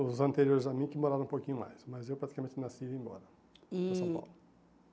os anteriores a mim que moraram um pouquinho mais, mas eu praticamente nasci e vim embora para São Paulo. E